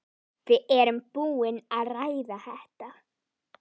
Við erum búin að ræða þetta.